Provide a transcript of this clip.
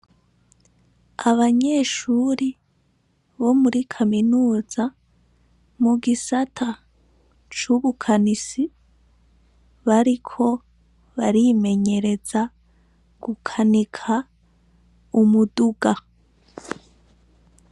Abanyeshuri bo muri Kaminuza mu gisata c'Ubukanisi bariko barimenyereza gukanika umuduga.